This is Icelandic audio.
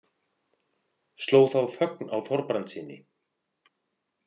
Sló þá þögn á Þorbrandssyni.